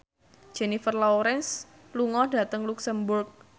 Jennifer Lawrence lunga dhateng luxemburg